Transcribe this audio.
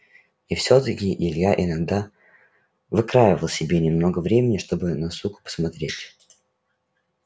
и всё-таки илья иногда выкраивал себе немного времени чтобы на суку посмотреть